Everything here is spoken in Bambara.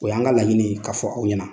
O y'an ka laɲini k'a fɔ aw ɲɛna.